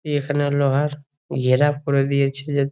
এখানে লোহার ঘেরা করে দিয়েছে যা --